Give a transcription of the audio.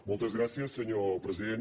moltes gràcies senyor president